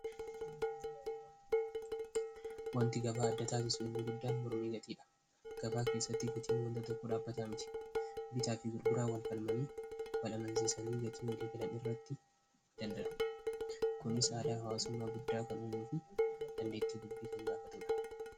Wanti gabaa adda taasisuu inni guddaan mormii gatiidha. Gabaa keessatti gatiin wanta tokko dhaabataa miti bitaa fi gurguraa walfalmanii balamansiisanii gatii walii galan irratti dandadu kunis aadaa hawaasummaa guddaa kan umuu fi dandeettii dubbii kan gaafatuudha.